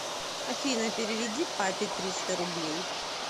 афина переведи папе триста рублей